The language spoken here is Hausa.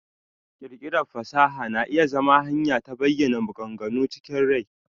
ƙirƙirar fasaha na iya zama hanyar ta bayana maganganu chikin rai.